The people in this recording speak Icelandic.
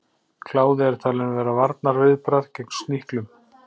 Kláði er talinn vera varnarviðbragð gegn sníklum.